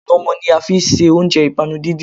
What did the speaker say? Ànàmó ní a fi ṣe oúnjẹ ìpanu díndín